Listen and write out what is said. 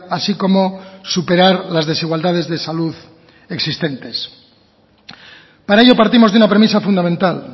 así como superar las desigualdades de salud existentes para ello partimos de una premisa fundamental